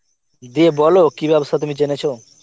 দিয়ে বল কি ব্যবসা তুমি যেনেছ?